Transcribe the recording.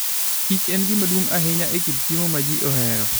kiche gima duong' ahinya e kit chiemo ma ji ohero.